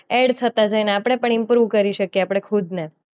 Add થતા જાય અને આપણે પણ ઈમ્પ્રોવ કરીએ શકીયે આપણે ખુદને.